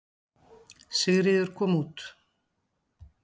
Sigríður kom úr